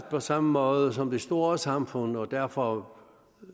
på samme måde som de store samfund og derfor